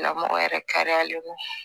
Lamɔgɔ yɛrɛ kariyalen don